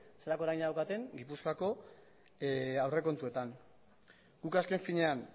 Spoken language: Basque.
zelako eragina daukaten gipuzkoako aurrekontuetan guk azken finean